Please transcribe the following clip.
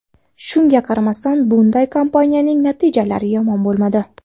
Shunga qaramasdan, bunday kampaniyaning natijalari yomon bo‘lmadi.